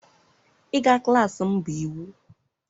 ịga klas m bụ iwu!